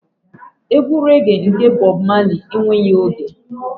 Egwu rẹ́ge nke Bob Marley enweghị oge.